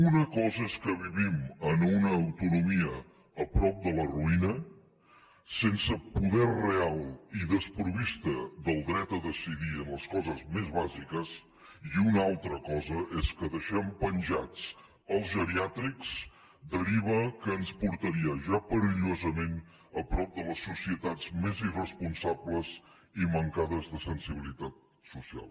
una cosa és que vivim en una autonomia a prop de la ruïna sense poder real i desproveïts del dret a decidir en les coses més bàsiques i una altra cosa és que deixem penjats els geriàtrics deriva que ens portaria ja perillosament a prop de les societats més irresponsables i mancades de sensibilitat social